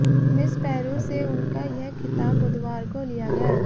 miss Peru से उनका यह खिताब बुधवार को लिया गया